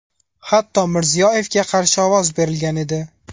Hatto Mirziyoyevga qarshi ovoz berilgan edi.